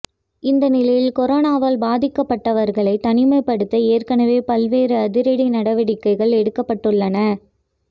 இந்த நிலையில் கொரோனாவால் பாதிக்கப்பட்டவர்களை தனிமைப்படுத்த ஏற்கனவே பல்வேறு அதிரடி நடவடிக்கைகள் எடுக்கப்பட்டுள்ளன